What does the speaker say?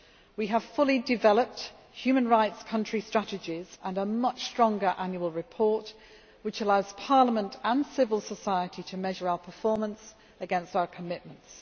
We have fully developed human rights country strategies and a much stronger annual report, which allows Parliament and civil society to measure our performance against our commitments.